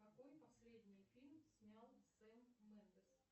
какой последний фильм снял сэм мендес